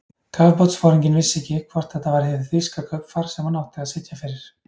Kafbátsforinginn vissi ekki, hvort þetta var hið þýska kaupfar, sem hann átti að sitja fyrir.